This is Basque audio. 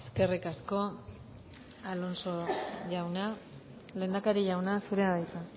eskerrik asko alonso jauna lehendakari jauna zurea da hitza